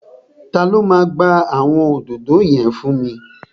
Ta ló máa gba àwọn òdòdó yẹn fún mi?